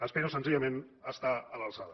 espero senzillament estar a l’alçada